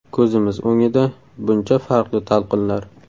Ko‘zimiz o‘ngida buncha farqli talqinlar!